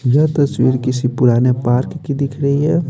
यह तस्वीर किसी पुराने पार्क की दिख रही है।